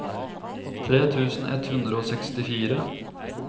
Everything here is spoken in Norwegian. tre tusen ett hundre og sekstifire